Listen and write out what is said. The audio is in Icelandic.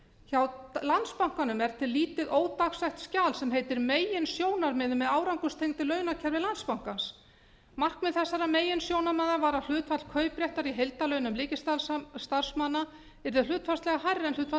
hjá landsbankanum er til lítið ódagsett skjal sem heitir meginsjónarmið með árangurstengdu launakerfi landsbankans markmið þessara meginsjónarmiða var að hlutfall kaupréttar í heildarlaunum ríkisstarfsmanna yrði hlutfallslega hærra en hlutfall